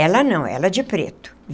Ela não, ela de preto.